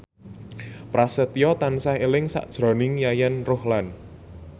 Prasetyo tansah eling sakjroning Yayan Ruhlan